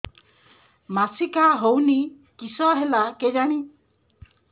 ମାସିକା ହଉନି କିଶ ହେଲା କେଜାଣି